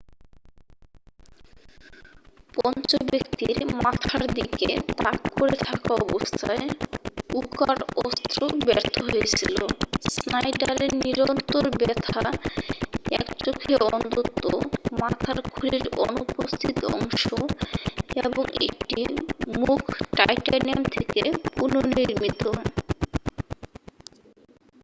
পঞ্চম ব্যাক্তির মাথার দিকে তাক করে থাকা অবস্থায় উকার অস্ত্র ব্যর্থ্য হয়েছিল স্নাইডারের নিরন্তর ব্যথা এক চোখে অন্ধত্ব মাথার খুলির অনুপস্থিত অংশ এবং একটি মুখ টাইটানিয়াম থেকে পুনর্নির্মিত